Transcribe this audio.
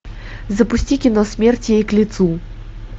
запусти кино смерть ей к лицу